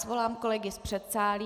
Svolám kolegy z předsálí.